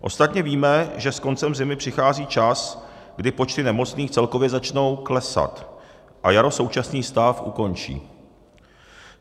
Ostatně víme, že s koncem zimy přichází čas, kdy počty nemocných celkově začnou klesat, a jaro současný stav ukončí.